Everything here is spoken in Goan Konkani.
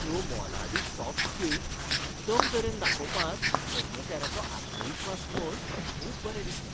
त्यो मोलादीक सॉफ्ट स्कील्स उत्तम तरेन दाखोवपांत कर्मचाऱ्याचो आत्मविश्वास पळोवन खूब बरें दिसलें.